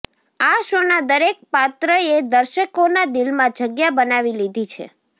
આ શોના દરેક પાત્રએ દર્શકોના દિલમાં જગ્યા બનાવી લીધી છે